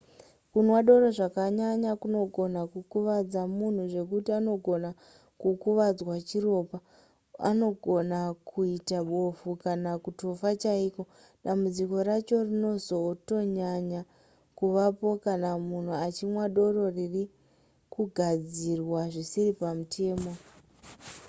kunwa doro zvakanyanya kunogona kukuvadza munhu zvekuti anogona kukuvadzwa chiropa anogona kuita bofu kana kutofa chaiko dambudziko racho rinozotonyanya kuvapo kana munhu achinwa doro riri kugadzirwa zvisiri pamutemo